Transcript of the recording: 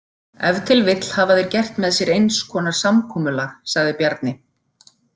Ef til vill hafa þeir gert með sér eins konar samkomulag, sagði Bjarni.